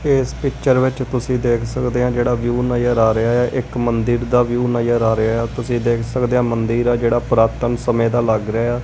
ਇਸ ਪਿਕਚਰ ਵਿੱਚ ਤੁਸੀਂ ਦੇਖ ਸਕਦੇ ਆ ਜਿਹੜਾ ਵਿਊ ਨਜਰ ਆ ਰਿਹਾ ਇੱਕ ਮੰਦਿਰ ਦਾ ਵਿਊ ਨਜ਼ਰ ਆ ਰਿਹਾ ਤੁਸੀਂ ਦੇਖ ਸਕਦੇ ਆ ਮੰਦਿਰ ਦਾ ਜਿਹੜਾ ਪੁਰਾਤਨ ਸਮੇਂ ਦਾ ਲੱਗ ਰਿਹਾ।